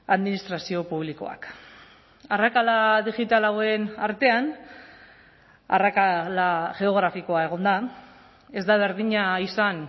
administrazio publikoak arrakala digital hauen artean arrakala geografikoa egon da ez da berdina izan